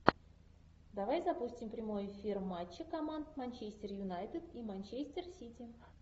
давай запустим прямой эфир матча команд манчестер юнайтед и манчестер сити